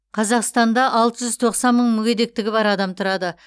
қазақстанда алты жүз тоқсан мың мүгедектігі бар адам тұрады